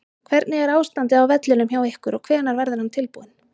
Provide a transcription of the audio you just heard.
Hvernig er ástandið á vellinum hjá ykkur og hvenær verður hann tilbúinn?